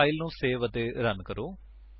ਹੁਣ ਫਾਇਲ ਨੂੰ ਸੇਵ ਅਤੇ ਰਨ ਕਰੋ